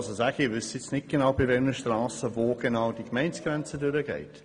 Ich weiss nicht, bei welchen Strassen wo genau die Gemeindegrenze verläuft.